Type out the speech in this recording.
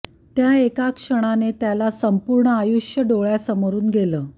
त्या एका क्षणाने त्याला संपूर्ण आयुष्य डोळ्यासमोरून गेलं